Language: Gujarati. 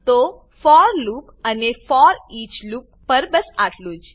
તો ફોર લૂપ અને ફોરઈચ લૂપ પર બસ આટલું જ